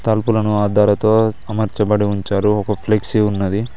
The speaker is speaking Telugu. తలుపులను అద్దాలతో అమర్చబడి ఉంచారు ఒక ఫ్లెక్సీ ఉన్నది.